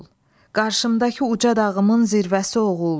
Qarşımdakı uca dağıımın zirvəsi oğul.